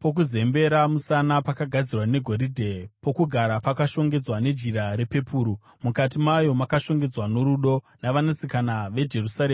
pokuzembera musana pakagadzirwa negoridhe. Pokugara pakashongedzwa nejira repepuru, mukati mayo makashongedzwa norudo navanasikana veJerusarema.